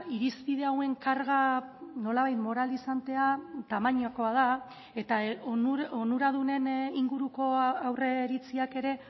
irizpide hauen karga nolabait moralizantea tamainakoa da eta onuradunen inguruko aurreiritziak ere